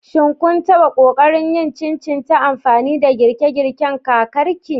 Shin kun taɓa ƙoƙarin yin chin chin ta amfani da girke-girken kakarki?